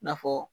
I n'a fɔ